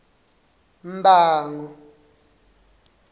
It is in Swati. mbango